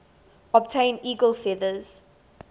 obtain eagle feathers